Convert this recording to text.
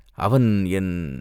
அவன் என்...